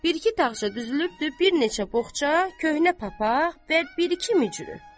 Bir-iki dağarcıq düzülübdü bir neçə boğça, köhnə papaq və bir-iki micrü.